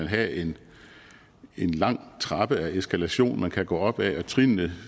have en lang trappe af eskalation man kan gå op af og trinnene